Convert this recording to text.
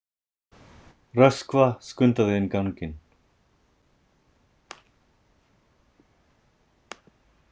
Röskva skundaði inn ganginn.